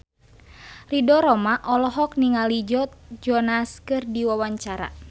Ridho Roma olohok ningali Joe Jonas keur diwawancara